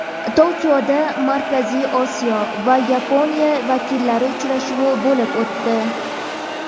Tokioda Markaziy Osiyo va Yaponiya vakillari uchrashuvi bo‘lib o‘tdi.